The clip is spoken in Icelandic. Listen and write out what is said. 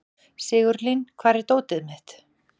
Sigurlín, hvar er dótið mitt?